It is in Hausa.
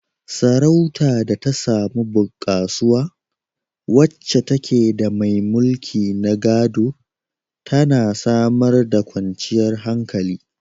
Sarautar da ta samu bunkasuwa, wacce take da mai mulki na gado, tana samar da kwanciyar hankali.